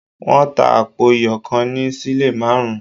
Wọ́n tà àpò iyọ̀ kan ní sílè márùn-ún